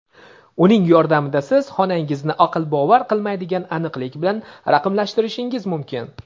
Uning yordamida siz xonangizni aql bovar qilmaydigan aniqlik bilan raqamlashtirishingiz mumkin.